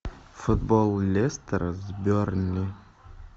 футбол лестера с бернли